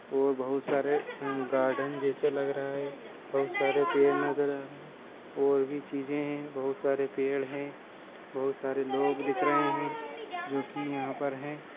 और बहुत सारे अ गार्डन जेसा लग रहा हैं बहुत सारे पेड़ नजर आ रहे हैं और भी चीजे हे बहुत सारे पेड़ हैं बहुत सारे लोग दिख रहे हैं जोकि यहाँ पर हैं।